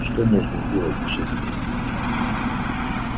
что можно сделать за шесть месяцев